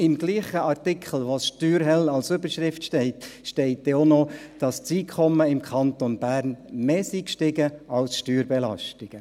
Im selben Artikel, der «Steuerhölle» als Überschrift trägt, steht dann auch noch, dass das Einkommen im Kanton Bern mehr gestiegen sei als die Steuerbelastungen.